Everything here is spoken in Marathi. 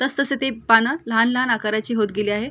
तस तसे ते पान लहान लहान आकाराचे होतं गेली आहेत.